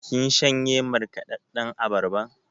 Kin shanye markaɗaɗɗan abarban?